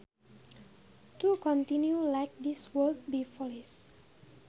To continue like this would be foolish